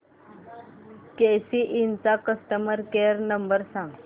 केसी इंड चा customer care number सांग